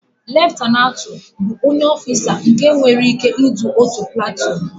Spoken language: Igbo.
Leftanantu bụ onye ọfisa nke nta nwere ị́ké idu otu platuun.